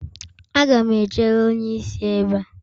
Aga m echere onye isi ebe a.